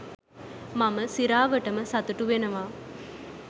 මම සිරාවටම සතුටු වෙනව